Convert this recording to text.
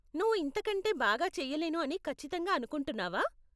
నువ్వు ఇంతకంటే బాగా చెయ్యలేను అని ఖచ్చితంగా అనుకుంటున్నావా ?